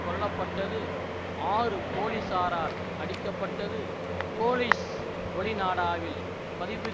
கொல்ல பட்டது ஆறு போலீசாரால் அடிக்கப்பட்டது போலீஸ் ஒளிநாடாவில் பதிவு